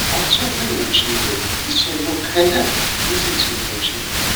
a tún gbìyànjú rẹ ìṣòro kan náà ló sì tún yọjú